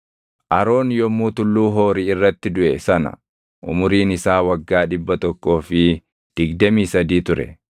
Aroon yommuu Tulluu Hoori irratti duʼe sana umuriin isaa waggaa dhibba tokkoo fi digdamii sadii ture.